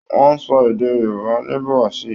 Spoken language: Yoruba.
Wọn ń sọ èdè Yorùbá ní Brasil